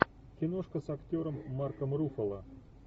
киношка с актером марком руффало